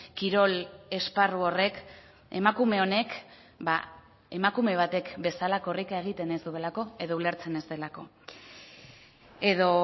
kirol esparru horrek emakume honek emakume batek bezala korrika egiten ez duelako edo ulertzen ez delako edo